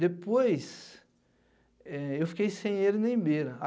Depois, eh eu fiquei sem ele nem beira.